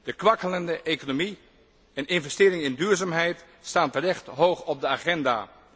De kwakkelende economie en investering in duurzaamheid staan terecht hoog op de agenda.